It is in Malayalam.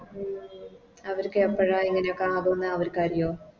ഉം അവര്ക്ക് എപ്പഴാ ഇങ്ങനെയൊക്കെ ആവുന്നേ അവര്ക്കരിയോ